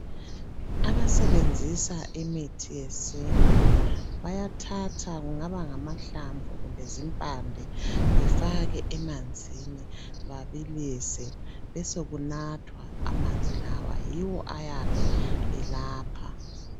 Abasebenzisa imithi yesintu bayathatha kungaba ngamahlamvu kumbe zimpande befake emanzini babilise besokunathwa amanzi lawa. Yiwo ayabe elapha.